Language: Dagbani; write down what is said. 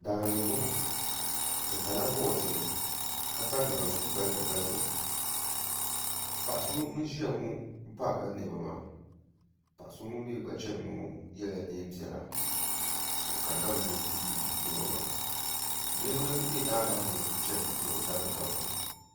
Daani n boŋo bi pala boodiyɛ ka pa naazuu balibu balibu paɣa so ŋun ʒiya ŋo parila niɛma maa paɣa so ŋun mii gba chɛni ŋo yɛla neen piɛla o kanna mi ni o ti yuli niɛma maa niraba bɛ daa maa ni n chɛni ni bi da bi daguya